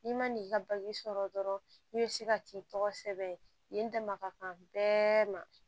N'i ma n'i ka sɔrɔ dɔrɔn i be se ka t'i tɔgɔ sɛbɛn yen dama ka kan bɛɛ ma